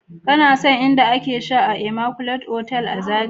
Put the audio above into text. ka na son in da a ke sha a " immaculate" otal a zarai?